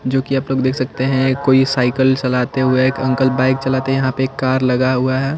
जो की आप लोग देख सकते हैं कोई साइकिल चलाते हुए एक अंकल बाइक चलाते है यहाँ पर एक कार लगा हुआ है।